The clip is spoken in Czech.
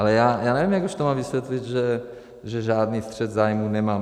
Ale já nevím, jak už to mám vysvětlit, že žádný střet zájmů nemám.